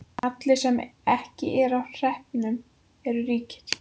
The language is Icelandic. Allir sem ekki eru á hreppnum eru ríkir.